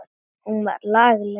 Hún var lagleg.